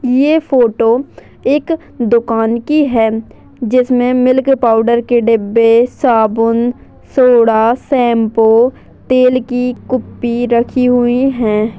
ये फोटो एक दुकान की हैं जिसमें मिल्क पाउडर के डिब्बे साबुन सोडा शैम्पू तेल की कुप्पी रखी हुई हैं।